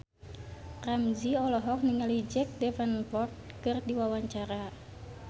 Ramzy olohok ningali Jack Davenport keur diwawancara